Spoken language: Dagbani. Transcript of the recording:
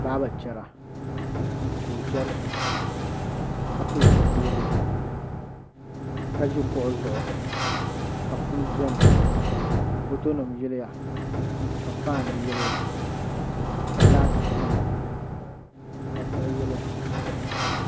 Baaba chɛra ka o chɛri so ka pili zipiligu ka ʒi kuɣu zuɣu ka punu biɛni ka foto nim yiliya ka fan yiliya ka laati biɛni ka diɣi yiliya